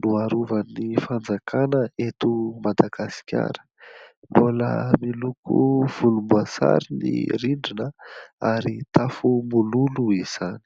noarovan'ny fanjakana eto Madagasikara. Mbola miloko volomboasary ny rindrina, ary tafo mololo izany.